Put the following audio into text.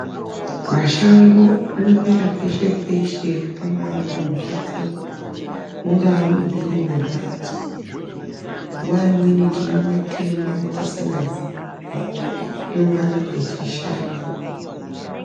Mashango anomera peshe peshe pangaa pambatso mungaa mumhiri mwembatso nguwa imweni tinomatema tisingaziyi kuti anongana echishanda.